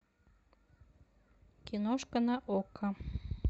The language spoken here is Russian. киношка на окко